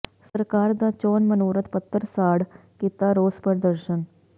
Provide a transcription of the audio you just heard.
ਸਰਕਾਰ ਦਾ ਚੋਣ ਮਨੋਰਥ ਪੱਤਰ ਸਾੜ ਕੀਤਾ ਰੋਸ ਪ੍ਰਦਰਸ਼ਨ